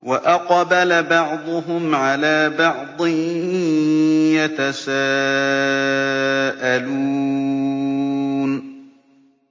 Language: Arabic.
وَأَقْبَلَ بَعْضُهُمْ عَلَىٰ بَعْضٍ يَتَسَاءَلُونَ